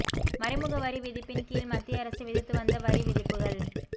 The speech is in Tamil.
மறைமுக வரி விதிப்பின் கீழ் மத்திய அரசு விதித்து வந்த வரி விதிப்புகள்